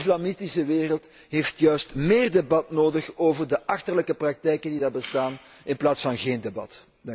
De islamitische wereld heeft juist meer debat nodig over de achterlijke praktijken die er bestaan in plaats van geen debat.